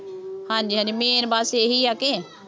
ਹਾਂਜੀ ਹਾਂਜੀ main ਬੱਸ ਇਹੀ ਆ ਕਿ